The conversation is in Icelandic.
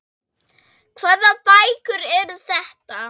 Hvaða bækur eru þetta?